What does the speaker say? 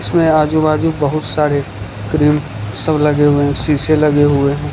इसमें आजू बाजू बहुत सारे क्रीम सब लगे हुए है शीशे लगे हुए है।